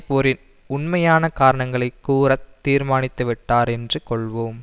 போரின் உண்மையான காரணங்களை கூற தீர்மானித்துவிட்டார் என்று கொள்வோம்